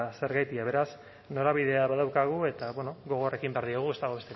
zergatia beraz norabidea badaukagu eta bueno gogor ekin behar diogu ez dago